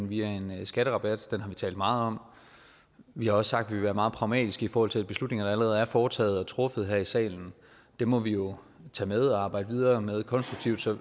via en skatterabat den har vi talt meget om og vi har også sagt at vi ville være meget pragmatiske i forhold til de beslutninger der allerede er foretaget truffet her i salen dem må vi jo tage med og arbejde videre med konstruktivt så